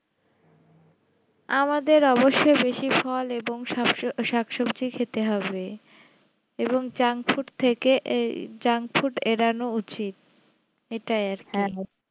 আমাদের অবশ্য বেশি ফল এবং শাকসো~শাকসবজি খেতে হবে এবং junk food থেকে এই junk food এড়ানো উচিত এটাই আর কি